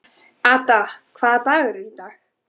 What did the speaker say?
Ada, hvaða dagur er í dag?